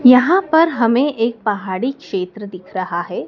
यहां पर हमें एक पहाड़ी क्षेत्र दिख रहा है।